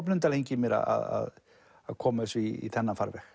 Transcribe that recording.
blunda lengi í mér að koma þessu í þennan farveg